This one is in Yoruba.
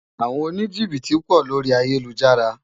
Awòn ónijibiti pò lóri àyélújàrá